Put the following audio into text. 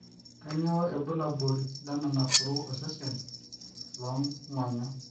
kanyio ibulabul le naporu osesen loo ngonyo